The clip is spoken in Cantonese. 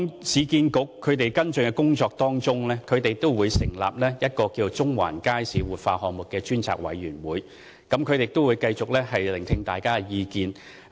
市建局為跟進有關工作，成立了中環街市活化項目專責委員會，繼續聆聽大家的意見。